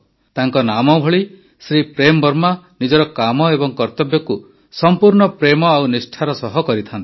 ତାଙ୍କ ନାମଭଳି ଶ୍ରୀ ପ୍ରେମ ବର୍ମା ନିଜର କାମ ଏବଂ କର୍ତବ୍ୟକୁ ସଂପୂର୍ଣ୍ଣ ପ୍ରେମ ଓ ନିଷ୍ଠାର ସହ କରିଥାନ୍ତି